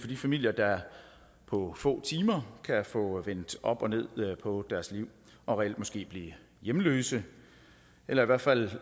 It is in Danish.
de familier der på få timer kan få vendt op og ned på deres liv og reelt måske bliver hjemløse eller i hvert fald